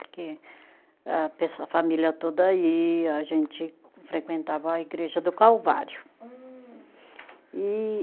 Porque a pesso, a família toda ia, a gente frequentava a igreja do Calvário. Hum. E